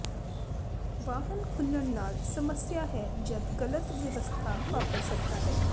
ਵਾਹਨ ਖੁੱਲਣ ਨਾਲ ਸਮੱਸਿਆ ਹੈ ਜਦ ਗਲਤ ਵਿਵਸਥਾ ਵਾਪਰ ਸਕਦਾ ਹੈ